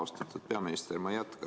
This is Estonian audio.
Austatud peaminister!